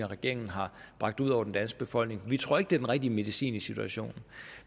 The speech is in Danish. regeringen har bragt ud over den danske befolkning vi tror ikke det den rigtige medicin i situationen